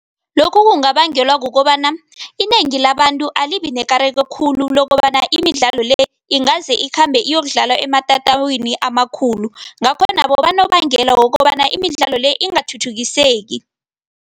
Lokhu kungabangelwa kukobana inengi labantu alibi nekareko khulu lokobana imidlalo le ingaze ikhambe iyokudlalwa ematatwini amakhulu, ngakho nabo banobangela wokobana imidlalo le ingathuthukiseki.